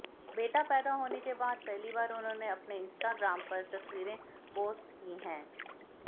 बेटा पैदा होने के बाद पहली बार उन्होंने अपने इंस्टाग्राम पर तस्वीरें पोस्ट की हैं